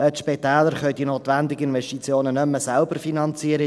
Die Spitäler können die notwendigen Investitionen nicht mehr selber finanzieren.